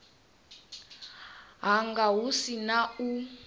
hanga hu si na u